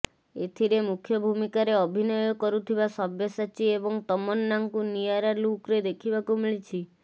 ଏଥିରେ ମୁଖ୍ୟ ଭୂମିକାରେ ଅଭିନୟ କରୁଥିବା ସବ୍ୟସାଚୀ ଏବଂ ତମନ୍ନାଙ୍କୁ ନିଆରା ଲୁକ୍ରେ ଦେଖିବାକୁ ମିଳିଛି